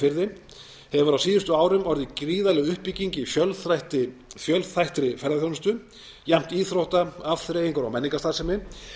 firði hefur á síðustu árum orðið gríðarleg uppbygging í fjölþættri ferðaþjónustu jafnt íþrótta afþreyingar og menningarstarfsemi